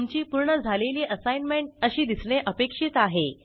तुमची पूर्ण झालेली असाईनमेंट अशी दिसणे अपेक्षित आहे